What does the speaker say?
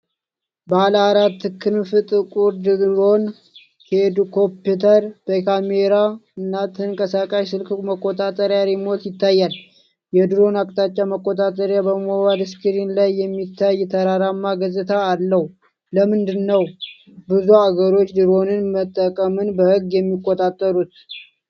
ባለአራት ክንፍ ጥቁር ድሮን (ኳድኮፕተር) በካሜራ እና ተንቀሳቃሽ ስልክ መቆጣጠሪያ (ሪሞት) ይታያል። የድሮኑ አቅጣጫ መቆጣጠሪያ በሞባይል ስክሪን ላይ የሚታይ ተራራማ ገጽታ አለው። ለምንድን ነው ብዙ አገሮች ድሮኖችን መጠቀምን በሕግ የሚቆጣጠሩት?